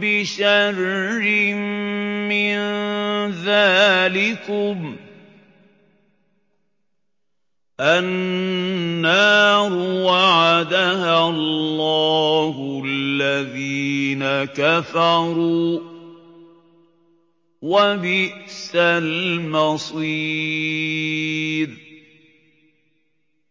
بِشَرٍّ مِّن ذَٰلِكُمُ ۗ النَّارُ وَعَدَهَا اللَّهُ الَّذِينَ كَفَرُوا ۖ وَبِئْسَ الْمَصِيرُ